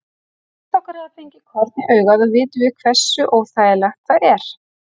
Flest okkar hafa fengið korn í augað og vitum við hversu óþægilegt það er.